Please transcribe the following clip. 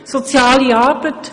Soziale Arbeit;